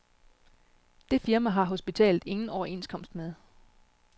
Det firma har hospitalet ingen overenskomst med.